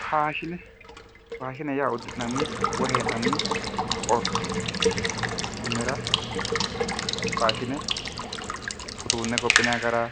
faashine faashine yaa uddi'nanni woy hee'nani orteeti kunnira faashine uduunne gophinanni gara